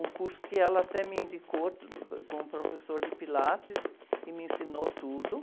Um curso que ela até me indicou, com o professor de Pilates, que me ensinou tudo.